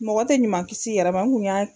Mɔgɔ tɛ ɲuman kis'i yɛrɛ ma n kun y'a